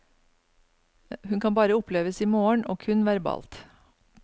Hun kan bare oppleves i morgen, og kun verbalt.